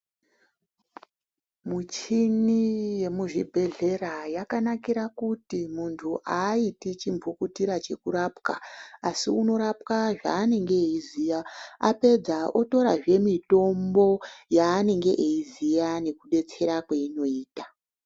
Muchini yemuzvibhedhlera yakanakira kuti muntu haaiti chimbukutira chekurapwa asi unorapwa zvaanenge eiziya. Apedza otorazve mitombo yaanenge eiziya nekudetsera kweinoita.